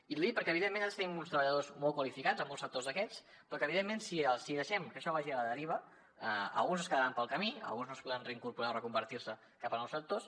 i l’hi dic perquè evidentment nosaltres tenim uns treballadors molt qualificats en molts sectors d’aquests però que evidentment si deixem que això vagi a la deriva alguns es quedaran pel camí alguns no es podran reincorporar o reconvertir se cap a nous sectors